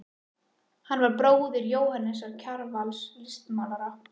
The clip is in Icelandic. Hann var bróðir Jóhannesar Kjarvals, listmálara.